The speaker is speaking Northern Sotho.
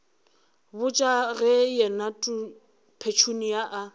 botša ge yena petunia a